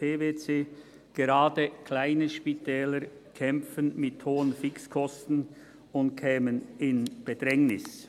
PwC. Gerade kleine Spitäler kämpften mit hohen Fixkosten und kämen in Bedrängnis.